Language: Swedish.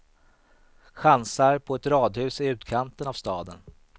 Chansar på ett radhus i utkanten av staden.